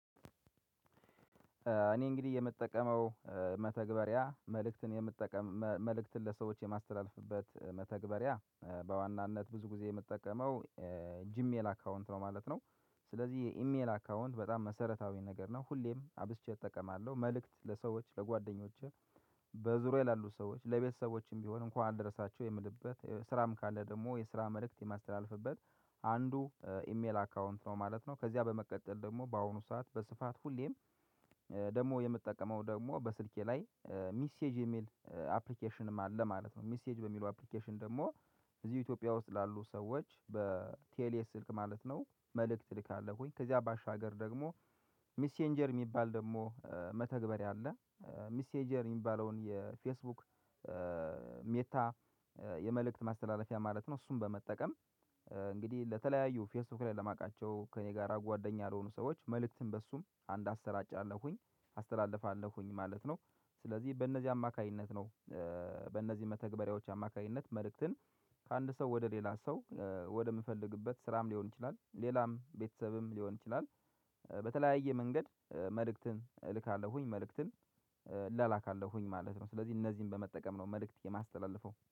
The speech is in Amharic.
እኔ እንግዲህ የምጠቀመው መተግበሪያ መልእክትን የምጠቀም መልእክትን ለሰዎች የማስተላልፍበት መተግበሪያ በዋናነት ብዙ ጊዜ የምጠቀመው ጂሜል አካውንት ነው ማለት ነው። ስለዚህ የኢሜል አካውንት በጣም መሰረታዊ ነገር ነው ሁሌም አብዝቼ እጠቀማለሁ መልእክት ለሰዎች ለጓደኞቼ። በዙሪያዬ ላሉ ሰዎች ለቤተሰቦችም ቢሆን እንኳን አደርሳቸው የምልበት ስራም ካለ ደግሞ የስራ መልእክት የማስተላልፍበት አንዱ ኢሜል አካውንት ነው ማለት ነው። ከዚያ በመቀጠል ደግሞ በአሁኑ ሰዓት በስፋት ሁሌም ደግሞ የምትጠቀመው ደግሞ በስልኬ ላይ ሚሴጅ የሚል አፕሊኬሽንም አለ ማለት ነው። ሚሴጅ በሚለው አፕሊኬሽን ደግሞ እዚህ ኢትዮጵያ ውስጥ ላሉ ሰዎች በቴሌ ስልክ ማለት ነው መልእክት እልካለሁኝ ከዚያ ባሻገር ደግሞ ሚሴንጀር የሚባል ደግሞ መተግበር ያለ ሚሴንጀር የሚባለውን የፌስቡክ ሜታ የመልእክት ማስተላለፊያ ማለት ነው። እሱን በመጠቀም እንግዲህ ለተለያዩ ፌስቡክ ላይ ለማቃቸው ከእኔ ጋር አጓደኛ ለሆኑ ሰዎች መልእክትን በእሱም አንድ አስራጫለኩኝ አስተላልፋለሁኝ ማለት ነው። ስለዚህ በእነዚህ አማካኝነት ነው። በእነዚህ መተግበሪያዎች አማካኝነት መልእክትን ከአንድ ሰው ወደ ሌላ ሰው ወደ ምፈልግበት ስራም ሊሆን ይችላል ሌላም ቤተሰብም ሊሆን ይችላል። በተለያየ መንገድ መልእክትን እልካለሁኝ መልእክትን እላላካለሁኝ ማለት ነው። ስለዚህ እነዚህን በመጠቀም ነው መልእክት የማስተላልፈው